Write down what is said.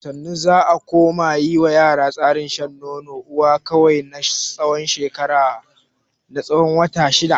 Da sannu za a koma yi ma yara tsarin shan nonon uwa kawai na tsawon wata shida.